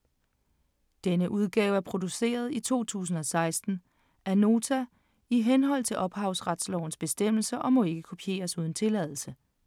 Denne udgave er produceret i 2016 af Nota i henhold til ophavsretslovens bestemmelser og må ikke kopieres uden tilladelse.